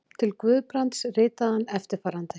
Til Guðbrands ritaði hann eftirfarandi